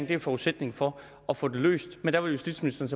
det er forudsætningen for at få det løst men der vil justitsministeren